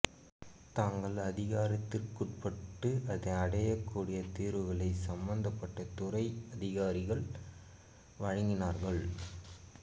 தங்கள் அதிகாரத்திற்குட்பட்டு அடையக்கூடிய தீர்வுகளை சம்பந்தப்பட்ட துறை அதிகாரிகள் வழங்கினார்கள்